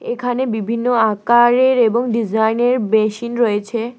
এখানে বিভিন্ন আকারের এবং ডিজাইনের বেসিন রয়েছে।